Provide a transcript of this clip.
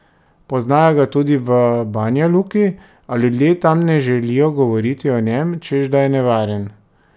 Poznajo ga tudi v Banjaluki, a ljudje tam ne želijo govoriti o njem, češ da je nevaren.